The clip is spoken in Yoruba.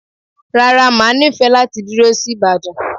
Rárá, máa nifẹ láti dúró sí Ibadan